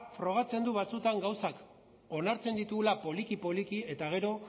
frogatzen du batzuetan gauzak onartzen ditugula poliki poliki eta gero